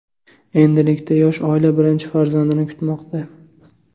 Endilikda yosh oila birinchi farzandini kutmoqda.